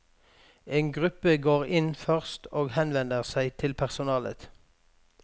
En gruppe går inn først og henvender seg til personalet.